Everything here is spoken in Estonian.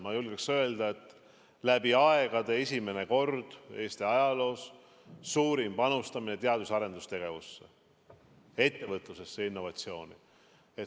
Ma julgen öelda, et see on läbi aegade Eesti ajaloos suurim panustamine teadus- ja arendustegevusse, ettevõtlusesse, innovatsiooni.